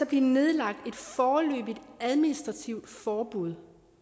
blive nedlagt et foreløbigt administrativt forbud